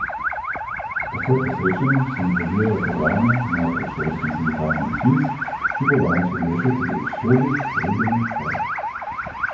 Takoj po srečanju se nadaljujejo pogajanja, najprej s šolskim sindikatom Sviz, ki bo danes odločal tudi o usodi sredine stavke.